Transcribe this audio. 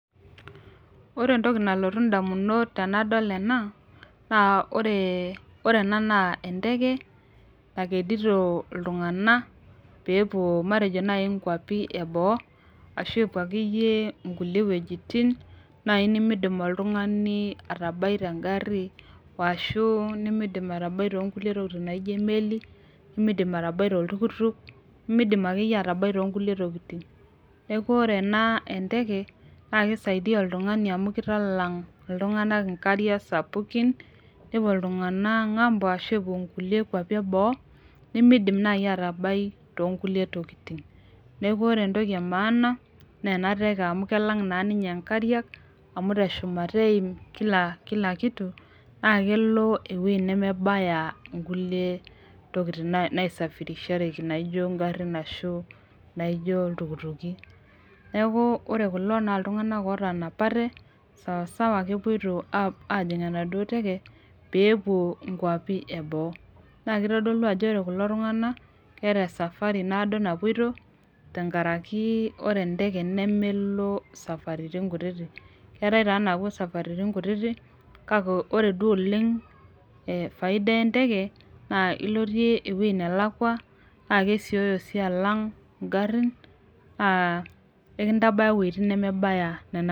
Ore entoki nalotu indamunot tanadol ena naa ore ore ena naa enteke nakedito iltung'ana peepuo matejo naaji nkuapi eboo ashu epuo akeyie inkulie wuejitin naaji nimidim oltung'ani atabai tengarri washu nimidim atabai tonkulie tokiting naijio emeli nimidim atabai toltukutuk nimidim atabai akeyie tonkulie tokiting neku ore ena enteke naa kisaidia oltung'ani amu kitalang iltung'anak inkariak sapukin nepuo iltung'anak ng'ambo ashu epuo inkulie kuapi eboo nemeidim naaji atabai tonkulie tokiting neku ore entoki e maana naa ena teke amu kelang naa ninye inkariak amu teshumata eim kila kila kitu naa kelo ewuei nemebaya inkulie tokiting nae naesafirishareki naijio ingarrin ashu naijio iltukutuki neku ore kulo naa iltung'anak otanapate sosawa kepuoito ajing enaduo teke peepuo inkuapi eboo naa kitodolu ajo ore kulo tung'ana naa keeta esafari naado napuoito tenkaraki ore enteke nemelo isafaritin kutitik keetae taa naapuo isafaritin kutitik kake ore duo oleng eh faida enteke naa ilotie ewueji nelakua naa kesioyo sii alang ingarrin naa enkitabaya iwuejitin nemebaya nena.